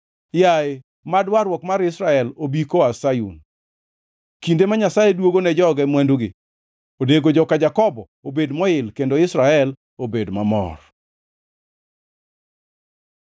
Yaye, mad warruok mar Israel obi koa Sayun! Kinde ma Nyasaye duogo ne joge mwandugi, onego joka Jakobo obed moil kendo Israel obed mamor!